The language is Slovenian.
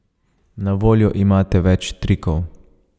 Na voljo imate več trikov.